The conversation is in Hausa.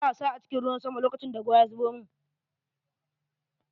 Ina wasa a cikin ruwan sama lokacin da ruwan ya zubo mun.